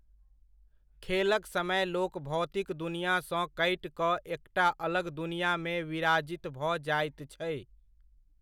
खेलक समय लोक भौतिक दुनिऑ सॅं कटि कऽ एकटा अलग दुनिआमे विराजित भऽ जाइत छै।